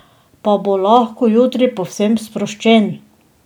Pa bo lahko jutri povsem sproščen?